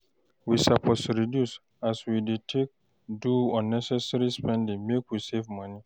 We suppose reduce as wey dey take do unnecessary spending make we save moni